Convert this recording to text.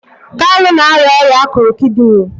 kalu na-arịa ọrịa akụrụ kidini